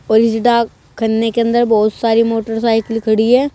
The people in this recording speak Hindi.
और इस डाक खन्ने के अंदर बहोत सारी मोटरसाइकिल खड़ी है।